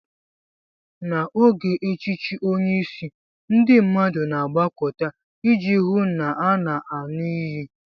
N'oge echichi onye isi, ndị mmadụ na-agbakọta iji hụ na a na-aṅụ iyi.